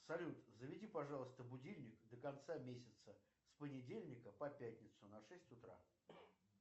салют заведи пожалуйста будильник до конца месяца с понедельника по пятницу на шесть утра